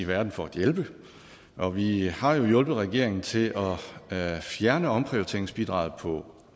verden for at hjælpe og vi har jo hjulpet regeringen til at fjerne omprioriteringsbidraget på